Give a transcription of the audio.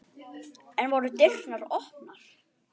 Enn voru dyrnar opnar.